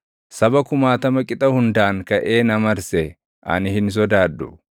Saba kumaatama qixa hundaan kaʼee na marse ani hin sodaadhu.